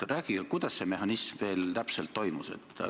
Rääkige, kuidas see mehhanism teil täpselt toimis.